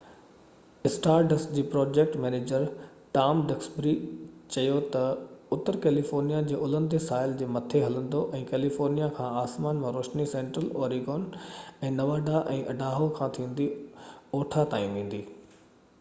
star dust جي project manager Tom Duxbury چيو تہ، اتر ڪيليفورنيا جي الهندي ساحل جي مٿي هلندو ۽ ڪيليفورنيا کان آسمان مان روشني سينٽرل اوريگون ۽ نواڊا ۽ اڊاهو کان ٿيندي اوٺا تائين ويندي